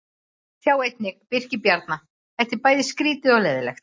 Sjá einnig: Birkir Bjarna: Þetta er bæði skrýtið og leiðinlegt